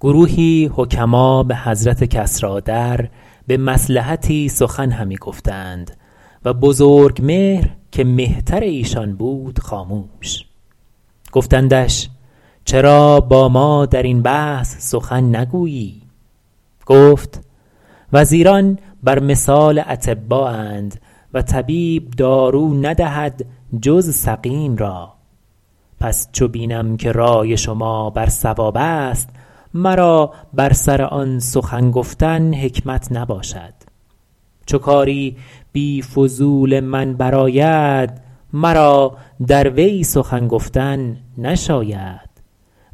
گروهی حکما به حضرت کسریٰ در به مصلحتی سخن همی گفتند و بزرگمهر که مهتر ایشان بود خاموش گفتندش چرا با ما در این بحث سخن نگویی گفت وزیران بر مثال اطبااند و طبیب دارو ندهد جز سقیم را پس چو بینم که رای شما بر صواب است مرا بر سر آن سخن گفتن حکمت نباشد چو کاری بی فضول من بر آید مرا در وی سخن گفتن نشاید